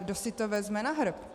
Kdo si to vezme na hrb?